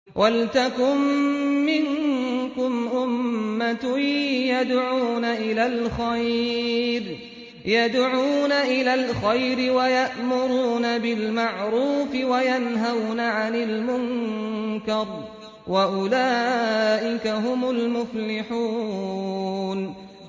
وَلْتَكُن مِّنكُمْ أُمَّةٌ يَدْعُونَ إِلَى الْخَيْرِ وَيَأْمُرُونَ بِالْمَعْرُوفِ وَيَنْهَوْنَ عَنِ الْمُنكَرِ ۚ وَأُولَٰئِكَ هُمُ الْمُفْلِحُونَ